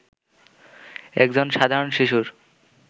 একজন সাধারণ শিশুর